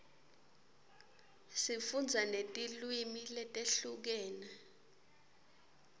sifundza netilwimi letehlukene